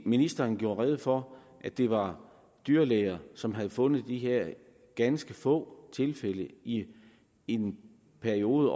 ministeren gjorde rede for at det var dyrlæger som havde fundet de her ganske få tilfælde i en periode